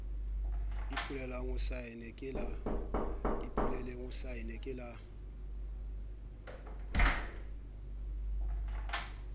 ipolelang o saenne ke le